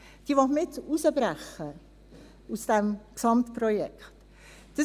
Die will man jetzt aus dem Gesamtprojekt herausbrechen.